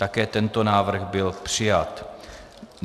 Také tento návrh byl přijat.